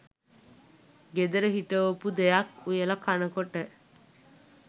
ගෙදර හිටවපු දෙයක් උයලා කනකොට